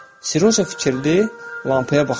Seryoja fikrli lampaya baxırdı.